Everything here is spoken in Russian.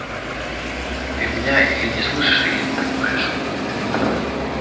ты меня или не слышишь или не понимаешь